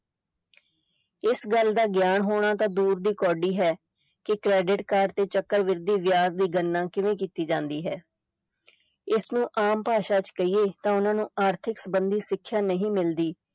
ਇਸ ਗੱਲ ਦਾ ਗਿਆਨ ਹੋਣਾ ਤਾਂ ਦੂਰ ਦੀ ਕੌਡੀ ਹੈ ਕਿ credit card ਤੇ ਚਕਰਵਿਧੀ ਵਿਆਜ ਦੀ ਗਣਨਾ ਕਿਵੇਂ ਕੀਤੀ ਜਾਂਦੀ ਹੈ ਇਸ ਨੂੰ ਆਮ ਭਾਸ਼ਾ ਚ ਕਹੀਏ ਤਾਂ ਉਨ੍ਹਾਂ ਨੂੰ ਆਰਥਿਕ ਸੰਬੰਧੀ ਸਿੱਖਿਆ ਨਹੀਂ ਮਿਲਦੀ।